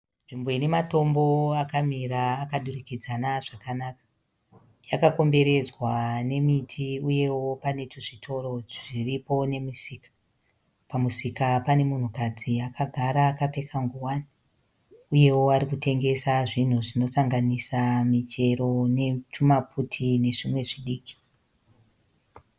Nzvimbo ine matombo akamira akadurikidzana zvakanaka. Yakakomberedzwa nemiti uyewo pane twuzvitoro zviripo nemisika. Pamusika pane munhukadzi akagara akapfeka nguwani uyewo ari kutengesa zvinhu zvinosanganisa michero netwumaputi nezvimwe zvidiki.